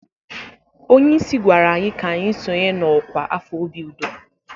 Onye isi gwara anyị ka anyị sonye na ọkwa afọ obi udo.